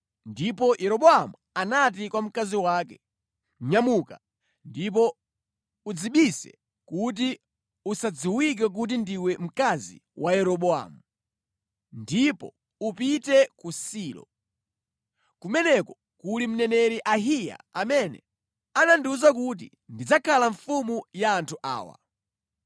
ndipo Yeroboamu anati kwa mkazi wake, “Nyamuka ndipo udzibise kuti usadziwike kuti ndiwe mkazi wa Yeroboamu, ndipo upite ku Silo. Kumeneko kuli mneneri Ahiya amene anandiwuza kuti ndidzakhala mfumu ya anthu awa.